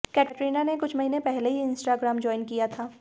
कैटरीना ने कुछ महीने पहले ही इंस्टाग्राम ज्वाइन किया था